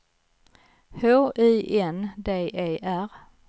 H I N D E R